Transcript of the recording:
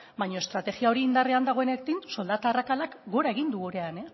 baina estrategia hori indarrean dagoenetik